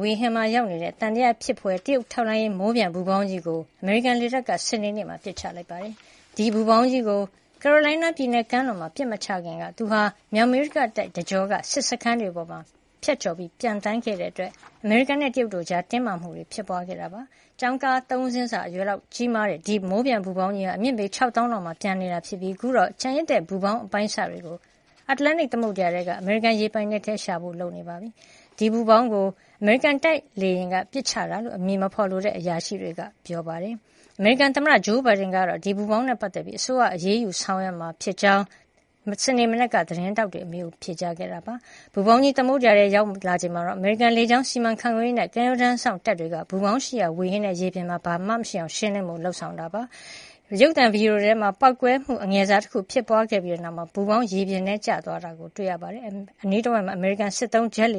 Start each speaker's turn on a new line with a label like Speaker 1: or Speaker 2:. Speaker 1: ဝေဟင်မှာရောက်နေတဲ့ သံသယဖြစ်ဖွယ် တရုတ်ထောက်လှမ်းရေး မိုးပျံပူဖေါင်းကြီးကို အမေရိကန်လေတပ်က စနေနေ့မှာ ပစ်ချလိုက်ပါတယ်။ ဒီပူဖေါင်းကြီးကို ကာရိုလိုင်းနားပြည်နယ်ကမ်းလွန်မှာ ပစ်မချခင်က သူဟာ မြောက်အမေရိကတိုက် တကျောက စစ်စခန်းတွေပေါ် ဖြတ်ကျော်ပျံသန်းခဲ့တာကြောင့် အမေရိကန်နဲ့ တရုတ်တို့ကြား တင်းမာမှုတွေ ပေါ်ပေါက်ခဲ့တာ ဖြစ်ပါတယ်။ ကျောင်းကား ၃ စင်းစာလောက် အရွယ်အစားရှိတဲ့ ဒီ မိုးပျံပူဖေါင်းကြီးဟာ အမြင့်ပေ ၆ သောင်းလောက်မှာ ပျံသန်းခဲ့တာဖြစ်ပြီး အခုတော့ ကျန်ရစ်တဲ့ ပူဖေါင်းရဲ့ အပိုင်းအစတွေကို အတ္တလန်တိတ် သမုဒ္ဒရာထဲက အမေရိကန် ရေပိုင်နက်ထဲမှာ ရှာဖွေဖို့ လုပ်နေပါပြီ။ ဒီပူးဖေါင်းကို အမေရိကန်တိုက်လေယာဉ်က ပစ်ချလိုက်တာလို့ အမည်မဖေါ်လိုတဲ့ အရာရှိတွေကပြောပါတယ်။ အမေရိကန်သမ္မတ ဂျိုးဘိုင်ဒန်ကတော့ ဒီပူဖေါင်းနဲ့ပတ်သက်ပြီး အစိုးရက အရေးယူဆောင်ရွက်မှာ ဖြစ်ကြောင်း စနေမနက်က သတင်းထောက်တွေရဲ့ အမေးကို ပြန်လည် ဖြေကြားခဲ့တာပါ။ ပူဖေါင်းကြီး သမုဒ္ဒရာထဲ ရောက်လာချိန်မှာတော့ အမေရိကန် လေကြောင်းစီမံခန့်ခွဲရေးနဲ့ ကမ်းရိုးတန်းစောင့်တပ်တွေက ဒီပူဖေါင်းရှိရာ ဝေဟင်နဲ့ ရေပြင်မှာ ဘာမှ မရှိအောင် ရှင်းလင်းဖို့ လုပ်ဆောင်ခဲ့တာဖြစ်ပါတယ်။ ရုပ်သံဗီဒီယိုထဲမှာတော့ ပေါက်ကွဲမှု အငယ်စားတခုဖြစ်ပွါးခဲ့ပြီးတဲ့နောက် ပူဖေါင်းဟာ ရေပြင်ထဲကျသွားတာ တွေ့ရပါတယ်။ အနီးတဝိုက်မှာ အမေရိကန်စစ်သုံး ဂျက်လ